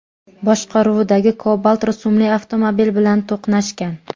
boshqaruvidagi Cobalt rusumli avtomobil bilan to‘qnashgan.